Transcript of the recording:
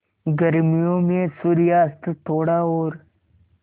गर्मियों में सूर्यास्त थोड़ा और